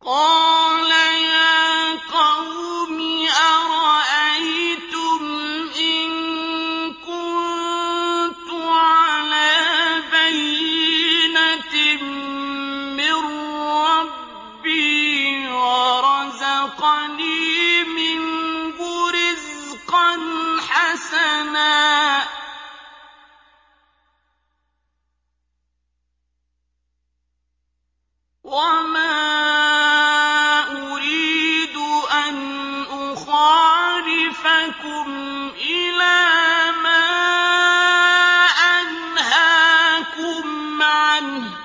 قَالَ يَا قَوْمِ أَرَأَيْتُمْ إِن كُنتُ عَلَىٰ بَيِّنَةٍ مِّن رَّبِّي وَرَزَقَنِي مِنْهُ رِزْقًا حَسَنًا ۚ وَمَا أُرِيدُ أَنْ أُخَالِفَكُمْ إِلَىٰ مَا أَنْهَاكُمْ عَنْهُ ۚ